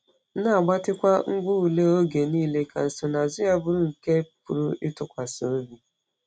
Na-agbatịkwa ngwá ule oge niile ka nsonaazụ ya bụrụ nke a pụrụ ịtụkwasị obi.